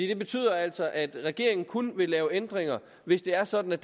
det betyder altså at regeringen kun vil lave ændringer hvis det er sådan at